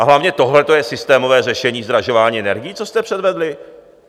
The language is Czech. A hlavně, tohle je systémové řešení zdražování energií, co jste předvedli?